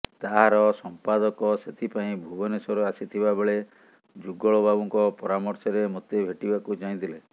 ତାହାର ସଂପାଦକ ସେଥିପାଇଁ ଭୁବନେଶ୍ୱର ଆସିଥିବାବେଳେ ଯୁଗଳବାବୁଙ୍କ ପରାମର୍ଶରେ ମୋତେ ଭେଟିବାକୁ ଚାହିଁଥିଲେ